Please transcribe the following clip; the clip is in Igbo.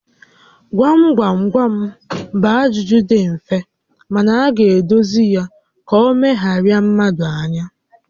Gwam gwam gwam bụ ajụjụ dị mfe mana a ga-edozi ya ka ọ megharịa mmadụ ányá